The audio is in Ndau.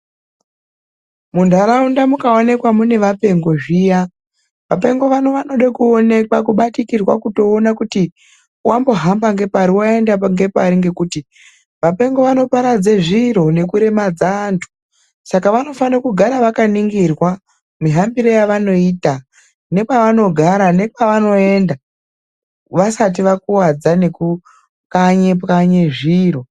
Muntaraunda mukaoneka munevapengo zviya, vapengo vano vanode kuonekwa, kubatikirwa kutoona kuti wambohambe ngepari waende ngepari ngekuti vapengo vanoparadze zviro nekuremadza vantu, saka vanifanirwa kugara vakaningirwa nehambire yavanoita nepavanogara nekwavanoenda vasati vakuwadza nekupwanyepwanye zviro.